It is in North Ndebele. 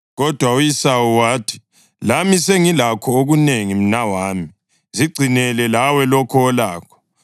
Kodwa u-Esawu wathi, “Lami sengilakho okunengi, mnawami. Zigcinele lawe lokho olakho.”